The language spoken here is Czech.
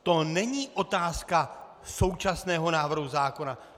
To není otázka současného návrhu zákona.